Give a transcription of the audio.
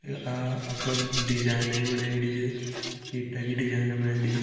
आ design बनायेड़ी ईंटे design बनायीं छे।